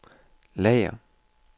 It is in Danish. lager